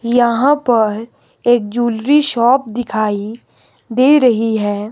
यहां पर एक जूलरी शॉप दिखाइ दे रही है।